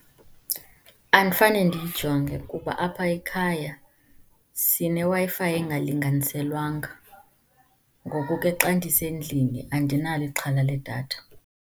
Andifane ndiyijonge kuba apha ekhaya sineWi-Fi engalinganiselwanga. Ngoku ke xa ndisendlini andinalo ixhala ledatha.